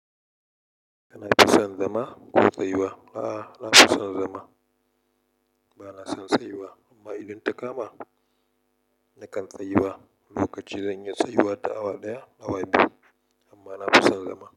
Kanafi son zama ko tsayuwa? A'a, nafi son zama. Bana son tsayuwa amma idan ta kama nakan tsayuwa. Lokaci zan iya tsayuwa da awa ɗaya, awa biyu amma nafi son zama.